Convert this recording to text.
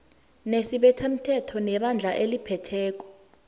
nesibethamthetho nebandla eliphetheko